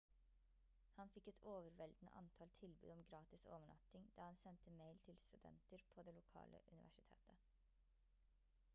han fikk et overveldende antall tilbud om gratis overnatting da han sendte mail til studenter på det lokale universitetet